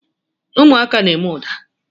Ụmụaka na-eme ụda.